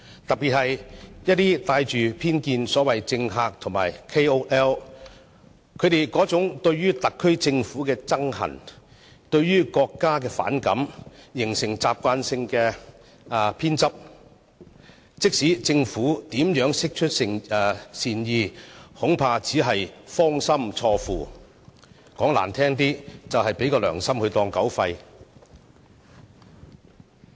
特別是一些帶着偏見的所謂政客和 KOL， 他們對特區政府憎恨、對國家反感，形成慣性偏執，無論政府如何釋出善意，恐怕也只是"芳心錯付"，說得難聽一點就是"良心當狗肺"。